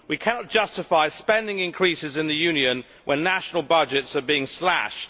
We cannot justify spending increases in the Union when national budgets are being slashed.